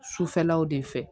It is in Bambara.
Sufɛlaw de fɛ